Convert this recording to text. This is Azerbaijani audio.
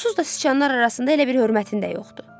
Onsuz da siçanlar arasında elə bir hörmətin də yoxdu.